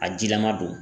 A jilama don